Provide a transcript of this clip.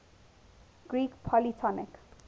greek polytonic